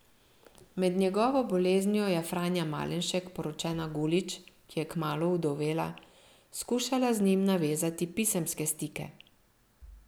Med njegovo boleznijo je Franja Malenšek, poročena Gulič, ki je kmalu ovdovela, skušala z njim navezati pisemske stike.